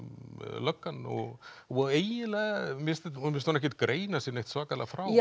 löggan og og mér finnst hún ekkert greina sig svakalega frá